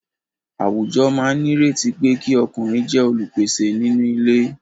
Àwùjọ máa nírètí pé kí ọkùnrin jẹ́ olùpèsè nínú ilé.